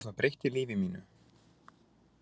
Ég gerði það og það breytti lífi mínu.